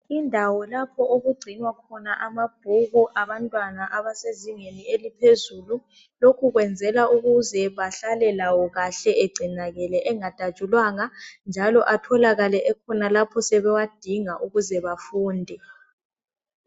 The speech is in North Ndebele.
Indawo lapho okugcinwa khona amabhuku abantwana abasezingeni eliphezulu. Lokhu kwenzela bahlale lawo kahle egcinakale engadatshulwanga, njalo atholakale ekhona lapho sebewadinga ukuze bafunde.